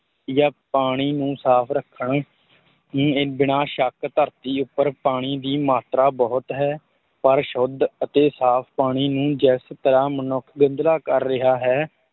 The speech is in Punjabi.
ਜਾਂ ਪਾਣੀ ਨੂੰ ਸਾਫ਼ ਰੱਖਣ ਨੇ ਬਿਨਾਂ ਸ਼ੱਕ ਧਰਤੀ ਉੱਪਰ ਪਾਣੀ ਦੀ ਮਾਤਰਾ ਬਹੁਤ ਹੈ, ਪਰ ਸ਼ੁੱਧ ਅਤੇ ਸਾਫ਼ ਪਾਣੀ ਨੂੰ ਜਿਸ ਤਰ੍ਹਾਂ ਮਨੁੱਖ ਗੰਧਲਾ ਕਰ ਰਿਹਾ ਹੈ,